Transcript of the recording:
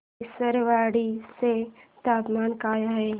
विसरवाडी चे तापमान काय आहे